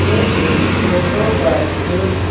ये इस फोटो पर एक घू--